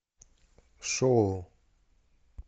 шоу